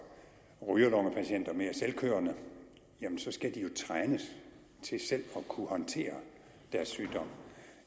rygerlungepatienter mere selvkørende skal de jo trænes til selv at kunne håndtere deres sygdom